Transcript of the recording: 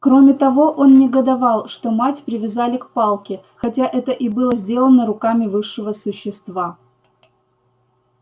кроме того он негодовал что мать привязали к палке хотя это и было сделано руками высшего существа